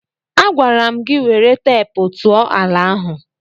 Agwara m gị were teepu tụọ ala ahụ!